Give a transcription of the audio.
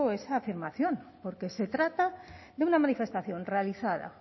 esa afirmación porque se trata de una manifestación realizada